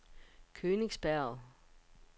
Königsberg